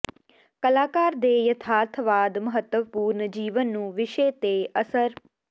ਕਲਾਕਾਰ ਦੇ ਯਥਾਰਥਵਾਦ ਮਹੱਤਵਪੂਰਨ ਜੀਵਨ ਨੂੰ ਵਿਸ਼ੇ ਤੇ ਅਸਰ